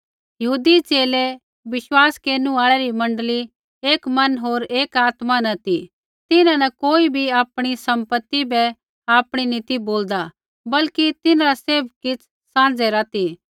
यहूदी च़ेले विश्वास केरनु आल़ै री मण्डली एक मन होर एक आत्मा न ती तिन्हां न कोई बी आपणी सम्पति बै आपणी नी ती बोलदा बल्कि तिन्हरा सैभ किछ़ साँझै रा ती